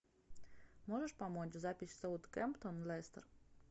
можешь помочь запись саутгемптон лестер